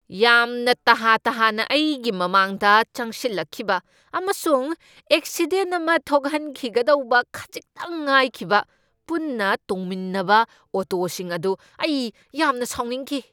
ꯌꯥꯝꯅ ꯇꯍꯥ ꯇꯍꯥꯅ ꯑꯩꯒꯤ ꯃꯃꯥꯡꯗ ꯆꯪꯁꯤꯜꯂꯛꯈꯤꯕ ꯑꯃꯁꯨꯡ ꯑꯦꯛꯁꯤꯗꯦꯟꯠ ꯑꯃ ꯊꯣꯛꯍꯟꯈꯤꯒꯗꯧꯕ ꯈꯖꯤꯛꯇꯪ ꯉꯥꯏꯈꯤꯕ ꯄꯨꯟꯅ ꯇꯣꯡꯃꯤꯟꯅꯕ ꯑꯣꯇꯣꯁꯤꯡ ꯑꯗꯨ ꯑꯩ ꯌꯥꯝꯅ ꯁꯥꯎꯅꯤꯡꯈꯤ꯫